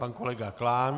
Pan kolega Klán.